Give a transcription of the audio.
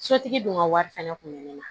Sotigi dun ka wari fɛnɛ kun bɛ ne na